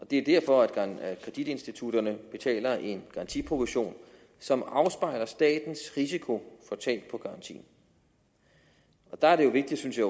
det er derfor at kreditinstitutterne betaler en garantiprovision som afspejler statens risiko for tab på garantien og der er det vigtigt synes jeg